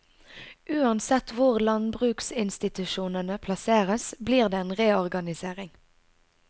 Uansett hvor landbruksinstitusjonene plasseres blir det en reorganisering.